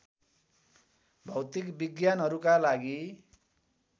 भौतिक विज्ञानहरूका लागि